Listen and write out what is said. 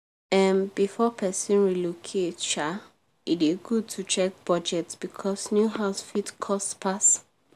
um before person relocate um e dey good to check budget because new house fit cost pass.